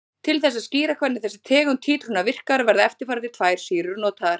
Til þess að skýra hvernig þessi tegund títrunar virkar verða eftirfarandi tvær sýrur notaðar.